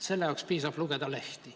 Selleks piisab, kui lugeda lehti.